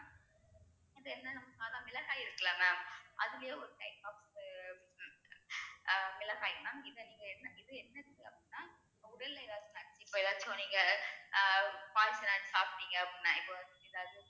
அது என்ன நம்~ சாதா மிளகாய் இருக்குல்ல mam அதிலயே ஒரு type of அஹ் மிளகாய் mam இதை நீங்க என்ன இது என்ன செய்யும் அப்படினா உடல்நிலை இப்போ ஏதாச்சும் நீங்க அஹ் சாப்பிட்டீங்க அப்படின்னா இப்போ இத